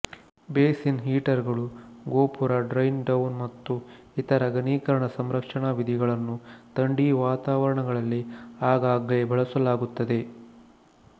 basin heater ಗಳು ಗೋಪುರ drain down ಮತ್ತು ಇತರ ಘನೀಕರಣ ಸಂರಕ್ಷಣ ವಿಧಿಗಳನ್ನು ಥಂಡಿ ವಾತಾವರಣಗಳಲ್ಲಿ ಆಗಾಗ್ಗೆ ಬಳಸಲಾಗುತ್ತದೆ